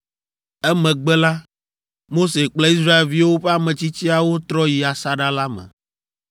Emegbe la, Mose kple Israelviwo ƒe ametsitsiawo trɔ yi asaɖa la me.